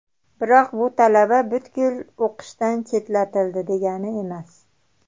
Biroq bu talaba butkul o‘qishdan chetlatildi degani emas.